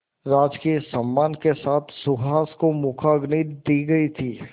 राजकीय सम्मान के साथ सुहास को मुखाग्नि दी गई थी